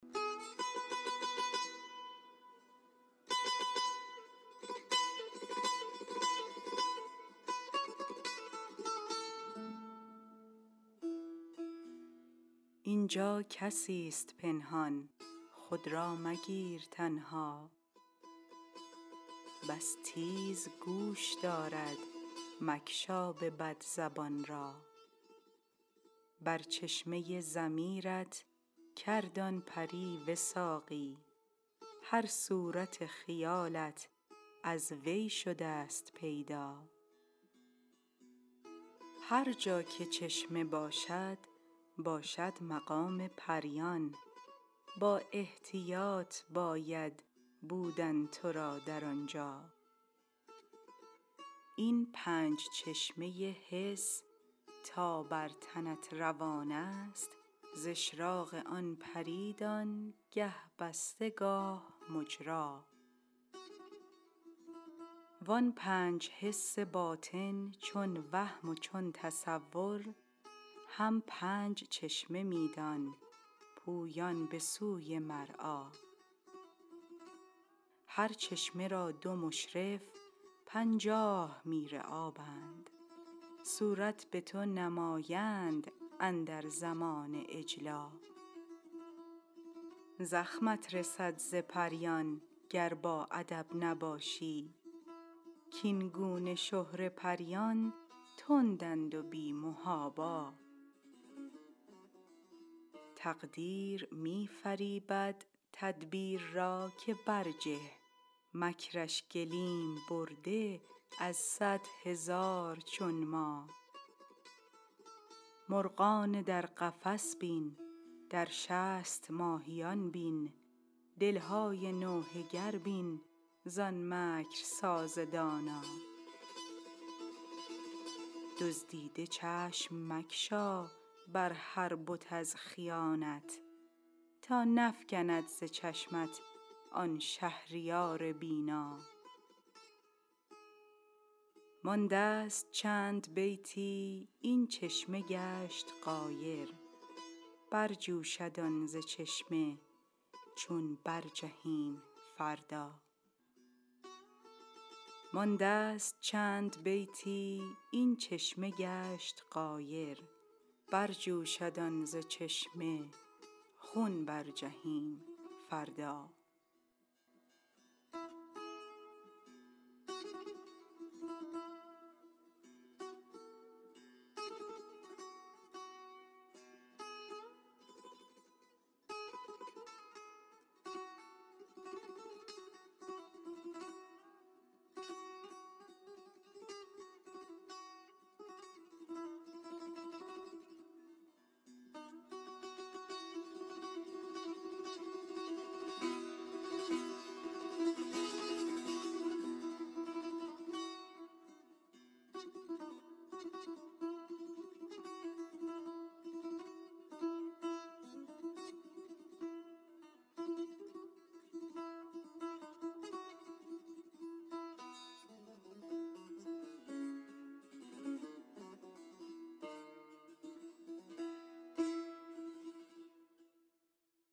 اینجا کسی ست پنهان خود را مگیر تنها بس تیز گوش دارد مگشا به بد زبان را بر چشمه ضمیر ت کرد آن پری وثاقی هر صورت خیالت از وی شده ست پیدا هر جا که چشمه باشد باشد مقام پریان با احتیاط باید بودن تو را در آنجا این پنج چشمه حس تا بر تنت روان است ز اشراق آن پری دان گه بسته گاه مجری وان پنج حس باطن چون وهم و چون تصور هم پنج چشمه می دان پویان به سوی مرعی هر چشمه را دو مشرف پنجاه میرابند صورت به تو نمایند اندر زمان اجلا زخمت رسد ز پریان گر باادب نباشی کاین گونه شهره پریان تندند و بی محابا تقدیر می فریبد تدبیر را که برجه مکر ش گلیم برده از صد هزار چون ما مرغان در قفس بین در شست ماهیان بین دل های نوحه گر بین زان مکرساز دانا دزدیده چشم مگشا بر هر بت از خیانت تا نفکند ز چشمت آن شهریار بینا مانده ست چند بیتی این چشمه گشت غایر برجوشد آن ز چشمه چون برجهیم فردا